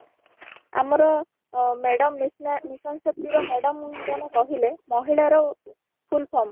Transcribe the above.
ଆମର ଅ madam mission Shakti ର madam ଜଣେ କହିଲେ ମହିଳା ର full form